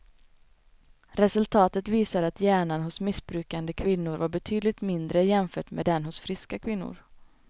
Resultaten visar att hjärnan hos missbrukande kvinnor var betydligt mindre jämfört med den hos friska kvinnor.